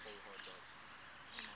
scanned array aesa